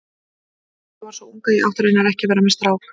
Ég var svo ung að ég átti raunar ekki að vera með strák.